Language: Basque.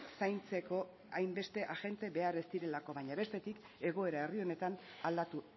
zaintzeko hainbeste agente behar ez direlako baina bestetik egoera herri honetan aldatu